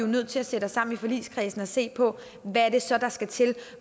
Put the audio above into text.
nødt til at sætte os sammen i forligskredsen og se på hvad det så er der skal til og